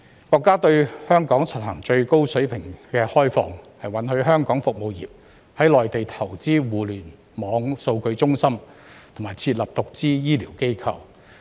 國家對香港實行最高水平開放，允許香港服務業在內地投資互聯網數據中心，並設立獨資醫療機構。